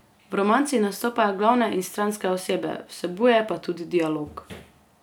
V romanci nastopajo glavne in stranske osebe, vsebuje pa tudi dialog.